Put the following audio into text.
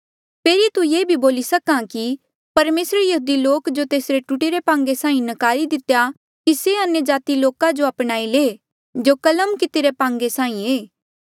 फेरी तू ये बोली सक्हा कि परमेसरे यहूदी लोका जो तेस टूटीरे पांगे साहीं नकारी दितेया कि से अन्यजाति रे लोको जो अपनाई ले जो कलम कितिरी पांगे साहीं